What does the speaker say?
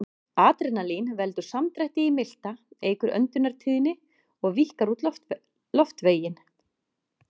Adrenalín veldur samdrætti í milta, eykur öndunartíðni og víkkar út loftveginn.